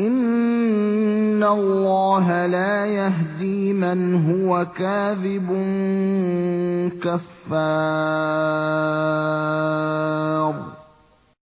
إِنَّ اللَّهَ لَا يَهْدِي مَنْ هُوَ كَاذِبٌ كَفَّارٌ